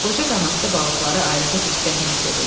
Qoca qanadlı balıqları ayrıca pərəstişlə sevirdi.